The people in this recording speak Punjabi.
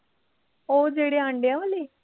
ਉਹ ਜਿਹੜੇ ਆਂਡਿਆ ਵਾਲੀ